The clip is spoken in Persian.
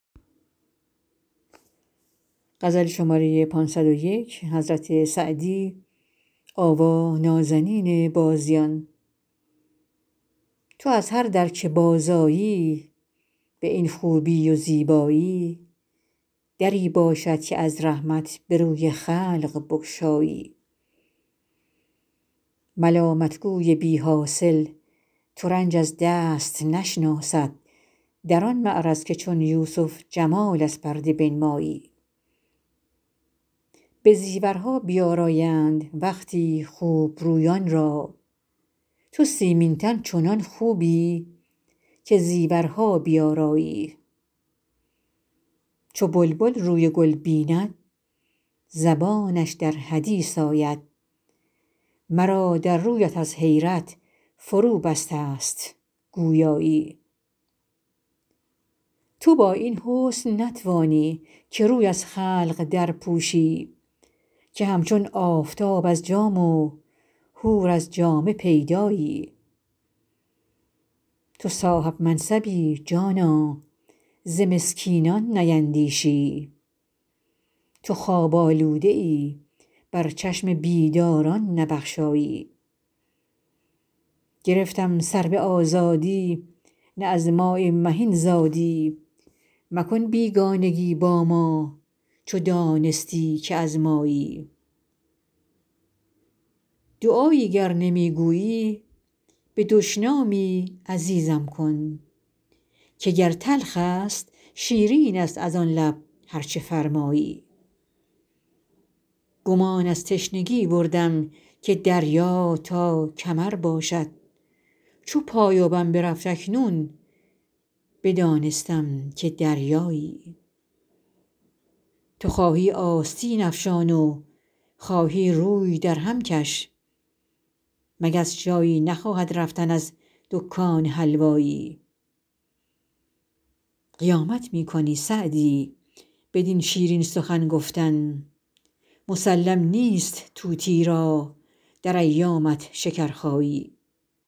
تو از هر در که بازآیی بدین خوبی و زیبایی دری باشد که از رحمت به روی خلق بگشایی ملامت گوی بی حاصل ترنج از دست نشناسد در آن معرض که چون یوسف جمال از پرده بنمایی به زیورها بیآرایند وقتی خوب رویان را تو سیمین تن چنان خوبی که زیورها بیآرایی چو بلبل روی گل بیند زبانش در حدیث آید مرا در رویت از حیرت فروبسته ست گویایی تو با این حسن نتوانی که روی از خلق درپوشی که همچون آفتاب از جام و حور از جامه پیدایی تو صاحب منصبی جانا ز مسکینان نیندیشی تو خواب آلوده ای بر چشم بیداران نبخشایی گرفتم سرو آزادی نه از ماء مهین زادی مکن بیگانگی با ما چو دانستی که از مایی دعایی گر نمی گویی به دشنامی عزیزم کن که گر تلخ است شیرین است از آن لب هر چه فرمایی گمان از تشنگی بردم که دریا تا کمر باشد چو پایانم برفت اکنون بدانستم که دریایی تو خواهی آستین افشان و خواهی روی درهم کش مگس جایی نخواهد رفتن از دکان حلوایی قیامت می کنی سعدی بدین شیرین سخن گفتن مسلم نیست طوطی را در ایامت شکرخایی